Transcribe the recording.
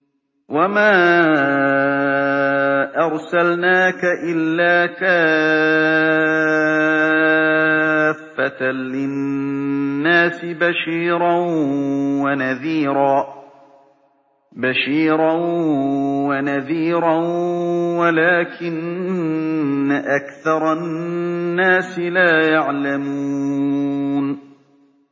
وَمَا أَرْسَلْنَاكَ إِلَّا كَافَّةً لِّلنَّاسِ بَشِيرًا وَنَذِيرًا وَلَٰكِنَّ أَكْثَرَ النَّاسِ لَا يَعْلَمُونَ